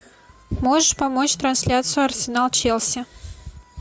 можешь помочь трансляцию арсенал челси